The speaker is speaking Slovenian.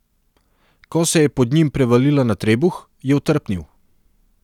Ko se je pod njim prevalila na trebuh, je otrpnil.